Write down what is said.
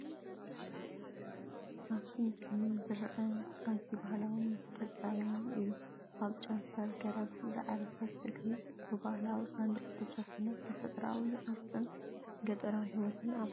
ኣብቲ ምስሊ ዝረአ ኣዝዩ ባህላውን ዝተጸረየን እዩ። ኣብ ጨንፈር ገረብ ዝዓረፈት እግሪ፡ ብባህላዊ ሳንዱቕ ዝተሸፈነት። ተፈጥሮኣዊ ቅርጽን ገጠራዊ ህይወትን ኣብ ሓደ ኵነታት ይረአ።